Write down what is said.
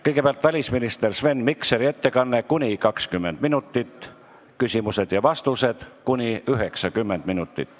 Kõigepealt on välisminister Sven Mikseri ettekanne, kuni 20 minutit, siis küsimused ja vastused, kuni 90 minutit.